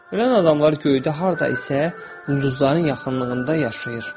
Ölən adamlar göydə harda isə ulduzların yaxınlığında yaşayır.